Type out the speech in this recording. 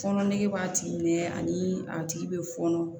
Fɔnɔ nege b'a tigi minɛ ani a tigi bɛ fɔɔnɔ